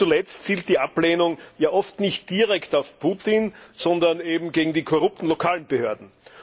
Und nicht zuletzt zielt die Ablehnung oft nicht direkt auf Putin, sondern auf die korrupten lokalen Behörden.